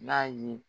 N'a ye